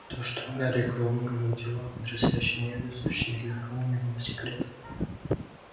то что гарик в амурных делах потрясающе невезуч ни для кого не было секретом